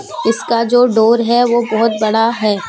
इसका जो डोर है वह बहुत बड़ा है।